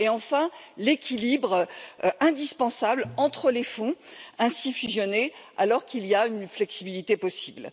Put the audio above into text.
et enfin, l'équilibre indispensable entre les fonds ainsi fusionnés, alors qu'il y a une flexibilité possible.